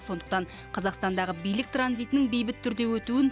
сондықтан қазақстандағы билік транзитінің бейбіт түрде өтуін